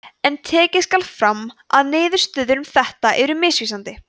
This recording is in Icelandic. en tekið skal fram að niðurstöður um þetta eru misvísandi